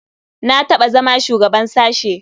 Na taɓa zama shugaban sashe.